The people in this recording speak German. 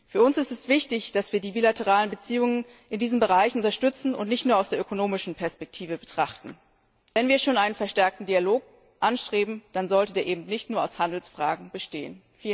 Für uns ist es wichtig, dass wir die bilateralen Beziehungen in diesen Bereichen unterstützen und nicht nur aus der ökonomischen Perspektive betrachten. Wenn wir schon einen verstärkten Dialog anstreben, dann sollte der eben nicht nur aus Handelsfragen bestehen.